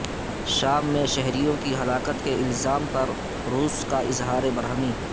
شام میں شہریوں کی ہلاکت کے الزام پر روس کا اظہار برہمی